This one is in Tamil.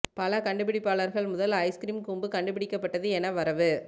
பல கண்டுபிடிப்பாளர்கள் முதல் ஐஸ் கிரீம் கூம்பு கண்டுபிடிக்கப்பட்டது என வரவு